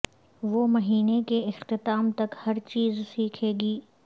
وہ مہینے کے اختتام تک ہر چیز سیکھے گی